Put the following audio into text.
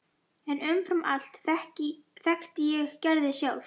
En umfram allt þekkti ég Gerði sjálf.